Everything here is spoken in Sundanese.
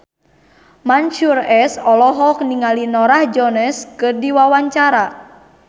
Mansyur S olohok ningali Norah Jones keur diwawancara